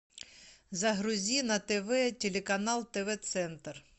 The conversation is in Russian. загрузи на тв телеканал тв центр